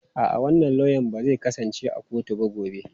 A'a, wannan lauya ba zai kasance a kotu ba gobe.